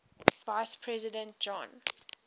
vice president john